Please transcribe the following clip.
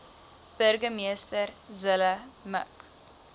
burgemeester zille mik